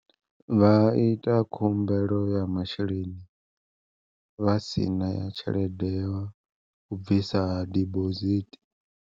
Vha ita khumbelo ya masheleni, vhasina ya tshelede yau bvisa dibosithi.